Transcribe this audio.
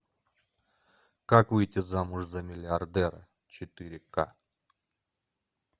как выйти замуж за миллиардера четыре ка